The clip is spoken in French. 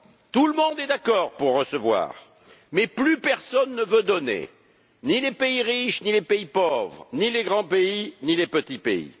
Tout le monde est d'accord pour recevoir, mais plus personne ne veut donner, ni les pays riches, ni les pays pauvres, ni les grands pays, ni les petits pays.